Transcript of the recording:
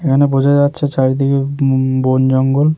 এখানে বোঝা যাচ্ছে চারিদিকে উম বন জঙ্গল।